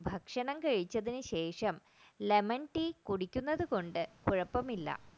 ഭക്ഷണം കഴിച്ചതിനുശേഷം lemon tea കുടിക്കുന്നത് കൊണ്ട് കുഴപ്പമില്ല